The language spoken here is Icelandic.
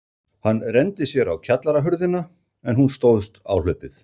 Hann renndi sér á kjallarahurðina, en hún stóðst áhlaupið.